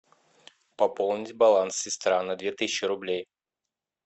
пополнить баланс сестра на две тысячи рублей